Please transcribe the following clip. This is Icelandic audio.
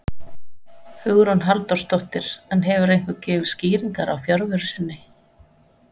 Hugrún Halldórsdóttir: En hefur einhver gefið skýringar á fjarveru sinni?